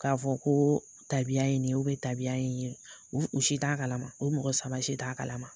K'a fɔ ko tabiya ye nin ye tabiya ye nin ye, u si t'a kalama, u mɔgɔ saba si t'a kalama.